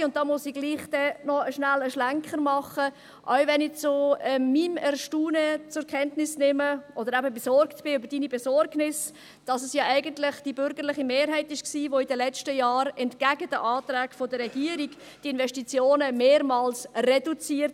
Auch – und da muss ich doch noch kurz einen Schlenker machen – auch wenn ich zu meinem Erstaunen zur Kenntnis nehme oder eben besorgt bin über Ihre Besorgnis, dass es ja eigentlich die bürgerliche Mehrheit war, welche in den letzten Jahren, entgegen der Anträge der Regierung, die Investitionen mehrmals reduzierte.